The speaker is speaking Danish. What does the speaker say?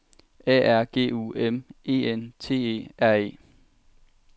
A R G U M E N T E R E